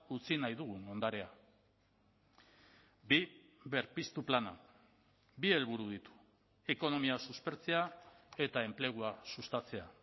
utzi nahi dugun ondarea bi berpiztu plana bi helburu ditu ekonomia suspertzea eta enplegua sustatzea